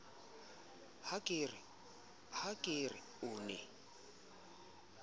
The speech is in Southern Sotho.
ha ke re o ne